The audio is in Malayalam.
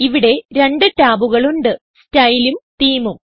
ഇവിടെ രണ്ട് ടാബുകൾ ഉണ്ട് Styleഉം Themeഉം